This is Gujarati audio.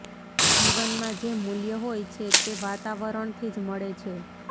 જીવનના જે મૂલ્ય હોય છે તે વાતાવરણથી જ મળે છે